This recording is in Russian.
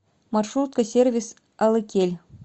маршрутка сервис алыкель